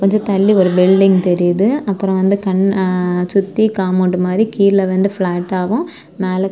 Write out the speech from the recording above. கொஞ்ச தள்ளி ஒரு பில்டிங் தெரியுது அப்பறம் வந்து கண் அ சுத்தி காம்பவுண்ட் மாறி கீழ வந்து பிளாட்டாவும் மேல.